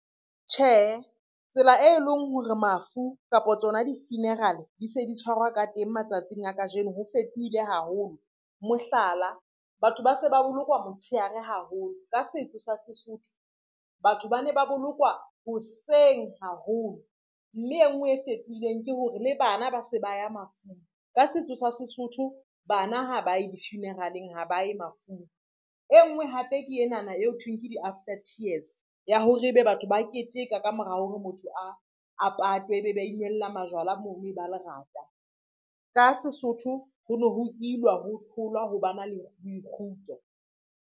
Tjhehe, tsela e leng hore mafu kapa tsona di-funeral di se di tshwarwa ka teng matsatsing a kajeno ho fetohile haholo. Mohlala, batho ba se ba bolokwa motshehare haholo ka setso sa Sesotho, batho ba ne ba bolokwa hoseng haholo, mme e ngwe e fetohileng ke hore le bana ba se ba ya mafung ka setso sa Sesotho bana ha ba ye di-funeral-eng ha ba ye mafung, e ngwe hape ke enana e ho thweng ke di-after tears ya hore ebe batho ba keteka ka mora hore motho a patwe, ebe ba inwella majwala mono e ba lerata, ka Sesotho ho no ho ilwa, ho tholwa, ho ba na le kgutso.